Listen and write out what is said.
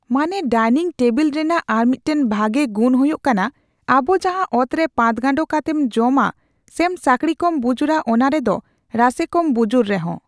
ᱢᱟᱱᱮ dining table ᱨᱮᱱᱟᱝ ᱟᱨ ᱢᱤᱫᱴᱮᱱ ᱵᱷᱟᱜᱮ ᱜᱩᱱ ᱦᱩᱭᱩᱜ ᱠᱟᱱᱟ ᱟᱵᱚ ᱡᱟᱦᱟᱸ ᱚᱛᱨᱮ ᱯᱟᱴᱜᱟᱱᱰᱚ ᱠᱟᱛᱮᱢ ᱡᱚᱢᱟ ᱥᱮᱢ ᱥᱟᱠᱲᱤ ᱠᱚᱢ ᱵᱩᱡᱩᱨᱟ ᱚᱱᱟ ᱨᱮᱫᱚ ᱨᱟᱥᱮ ᱠᱚᱢ ᱵᱩᱡᱩᱨ ᱨᱮᱦᱚᱸ